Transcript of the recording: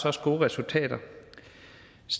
også gode resultater